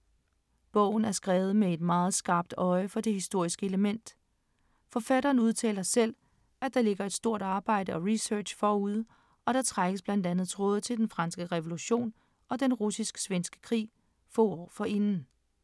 Bogen er skrevet med et meget skarpt øje for det historiske element. Forfatteren udtaler selv, at der ligger et stort arbejde og research forud, og der trækkes blandt andet tråde til den franske revolution og den russisk-svenske krig få år forinden.